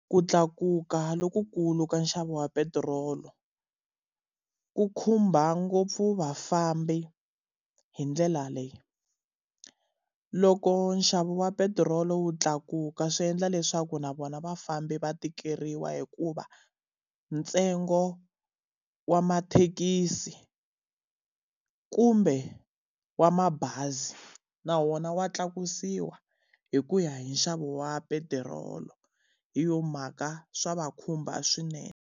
K u tlakuka lokukulu ka nxavo wa petirolo, ku khumba ngopfu vafambi hi ndlela leyi. Loko nxavo wa petirolo wu tlakuka swi endla leswaku na vona vafambi va tikeriwa hikuva, ntsengo wa mathekisi kumbe wa mabazi na wona wa tlakusiwa hi ku ya hi nxavo wa petirolo. hi yona mhaka swa va khumba swinene.